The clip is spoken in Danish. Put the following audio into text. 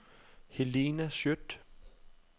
Helena Skjødt